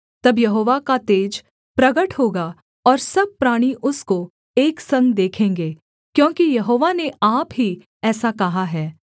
तब यहोवा का तेज प्रगट होगा और सब प्राणी उसको एक संग देखेंगे क्योंकि यहोवा ने आप ही ऐसा कहा है